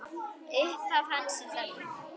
Upphaf hans er þannig